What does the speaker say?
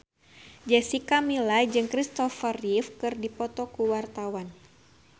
Jessica Milla jeung Christopher Reeve keur dipoto ku wartawan